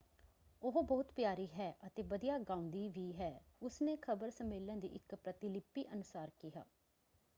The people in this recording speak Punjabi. ਉਹ ਬਹੁਤ ਪਿਆਰੀ ਹੈ ਅਤੇ ਵਧੀਆ ਗਾਉਂਦੀ ਵੀ ਹੈ” ਉਸਨੇ ਖ਼ਬਰ ਸੰਮੇਲਨ ਦੀ ਇੱਕ ਪ੍ਰਤਿਲਿਪੀ ਅਨੁਸਾਰ ਕਿਹਾ।